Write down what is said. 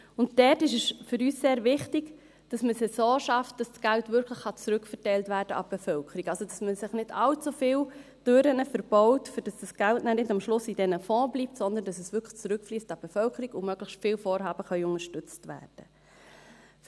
Für uns ist sehr wichtig, dass man sie so schafft, dass das Geld wirklich an die Bevölkerung zurückverteilt werden kann, also, dass man sich nicht allzu viele Türen verbaut, sodass das Geld am Schluss nicht in diesem Fonds bleibt, sondern dass es wirklich zurück an die Bevölkerung fliesst und möglichst viele Vorhaben unterstützt werden können.